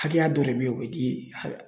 Hakɛya dɔ de bɛ ye o bɛ di